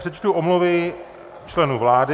Přečtu omluvy členů vlády.